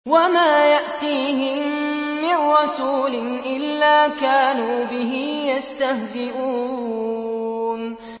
وَمَا يَأْتِيهِم مِّن رَّسُولٍ إِلَّا كَانُوا بِهِ يَسْتَهْزِئُونَ